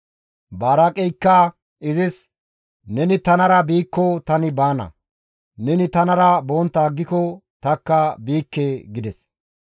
Baraaqeykka izis, «Neni tanara biikko tani baana; neni tanara bontta aggiko tanikka biikke» gides.